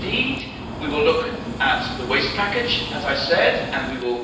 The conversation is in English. Indeed, we will look at the Waste Package, as I have said, and we will